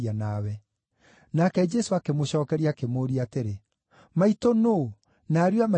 Nake Jesũ akĩmũcookeria akĩmũũria atĩrĩ, “Maitũ nũũ, na ariũ a maitũ nĩ a?”